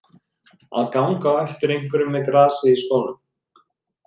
Að ganga á eftir einhverjum með grasið í skónum